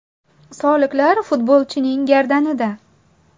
Soliqlar futbolchining gardanida.